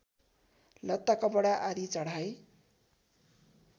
लत्ताकपडा आदि चढाइ